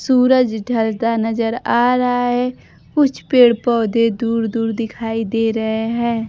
सूरज ढलता नजर आ रहा है कुछ पेड़ पौधे दूर दूर दिखाई दे रहे हैं।